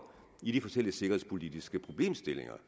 i de forskellige sikkerhedspolitiske problemstillinger